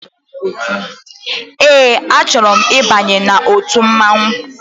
Ee a chọrọ m ịbanye n'ọtu mmanwụ.